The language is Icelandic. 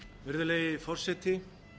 virðulegi forseti